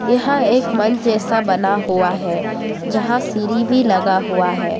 यहां एक मंच जैसा बना हुआ है जहां सिरी भी लगा हुआ है।